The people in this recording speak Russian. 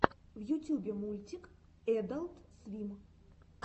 в ютюбе мультик эдалт свим